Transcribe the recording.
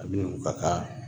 Ani u ka ka